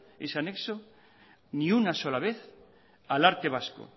ese anexo ni una sola vez al arte vasco